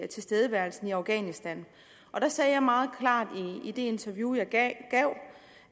tilstedeværelsen i afghanistan der sagde jeg meget klart i det interview jeg gav